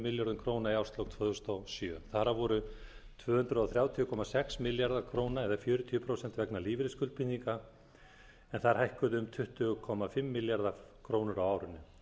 milljörðum króna í árslok tvö þúsund og sjö þar af voru tvö hundruð þrjátíu komma sex milljarðar króna eða fjörutíu prósent vegna lífeyrisskuldbindinga en þær hækkuðu um tuttugu komma fimm milljarða króna á árinu